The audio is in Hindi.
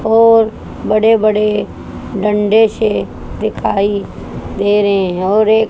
और बड़े बड़े डंडे से दिखाई दे रहें और एक--